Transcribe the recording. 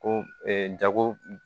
Ko jago